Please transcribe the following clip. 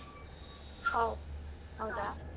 ಓಹ್ ಹೌದಾ.